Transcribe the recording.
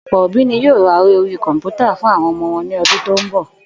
Ò̩pò̩ òbí ni yóò ra eré orí kò̩mpútà fún àwo̩n o̩mo̩ wo̩n ní o̩dún tó ń bò̩